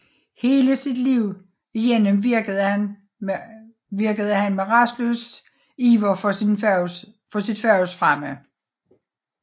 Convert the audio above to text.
Hele sit liv igennem virkede han med rastløs iver for sit fags fremme